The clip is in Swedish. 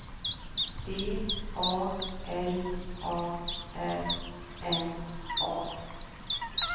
D A L A R N A